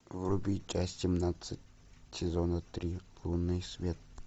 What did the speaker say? вруби часть семнадцать сезона три лунный свет